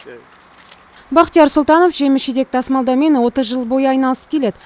бахтияр сұлтанов жеміс жидек тасымалдаумен отыз жыл бойы айналысып келеді